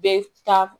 Bɛɛ ta